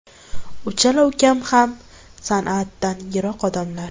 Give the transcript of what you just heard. Uchala ukam ham san’atdan yiroq odamlar.